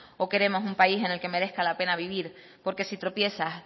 o queremos un país en el que merezca la pena vivir porque si tropieza